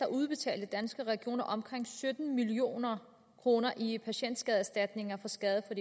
udbetalte danske regioner omkring sytten million kroner i patientskadeerstatninger for skader der